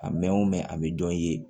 A mɛn o mɛn a bɛ dɔ ye